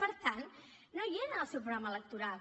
per tant no hi era en el seu programa electoral